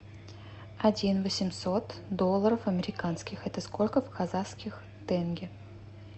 один восемьсот долларов американских это сколько в казахских тенге